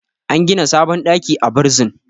an gida sabon ɗaki a bursin